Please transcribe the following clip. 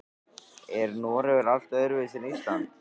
Er Noregur allt öðruvísi en Ísland?